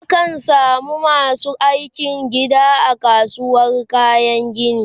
a kan samu masu aikin Gini a kasuwar kayan gini